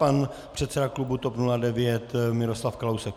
Pan předseda klubu TOP 09 Miroslav Kalousek.